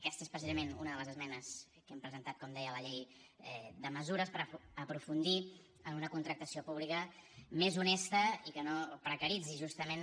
aquesta és precisament una de les esmenes que hem presentat com deia a la llei de mesures per aprofundir en una contractació pública més honesta i que no precaritzi justament